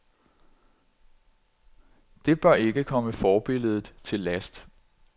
Det bør ikke komme forbilledet til last.